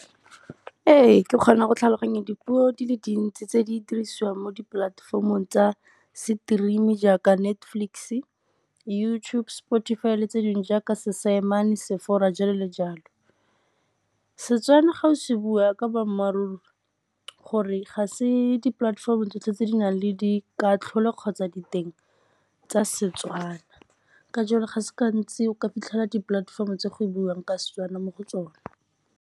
Ee, ke kgona go tlhaloganya dipuo di le dintsi tse di dirisiwang mo dipolatefomong tsa stream jaaka Netflix-e, YouTube, Spotify, le tse dingwe jaaka jalo le jalo. Setswana ga o se bua ka boammaaruri gore ga se dipolatefomo tsotlhe tse di nang le di katlholo kgotsa diteng tsa Setswana ka jalo ga se gantsi o ka fitlhela dipolatefomo tse go buang ka Setswana mo go tsona.